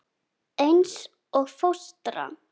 Eins og fóstra.